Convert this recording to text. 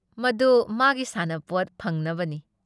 ꯃꯗꯨ ꯃꯥꯒꯤ ꯁꯥꯟꯅꯄꯣꯠ ꯐꯪꯅꯕꯅꯤ ꯫